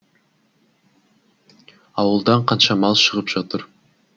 ауылдан қанша мал шығып жатыр